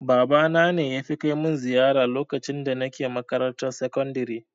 Babana ne yafi kai mun ziyara lokacin da nake makarantar sakandare